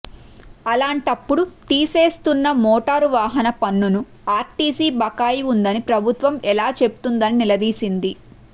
అలాంటప్పుడు తీసేసుకున్న మోటారు వాహన పన్నును ఆర్టీసీ బకాయి ఉందని ప్రభుత్వం ఎలా చెబుతుందని నిలదీసింది